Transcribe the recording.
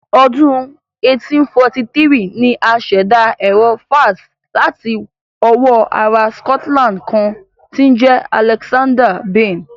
Ọdún 1843 ni a ṣẹ̀dá Ẹ̀rọ fax láti ọwọ́ ará Scotland kan tí ń jẹ́ Alexander Bain